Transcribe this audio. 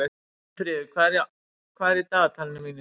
Finnfríður, hvað er í dagatalinu mínu í dag?